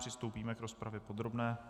Přistoupíme k rozpravě podrobné.